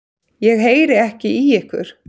Ég heyri ekki í ykkur.